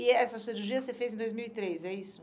E essa cirurgia você fez em dois mil e três, é isso?